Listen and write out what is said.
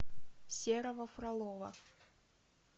серого фролова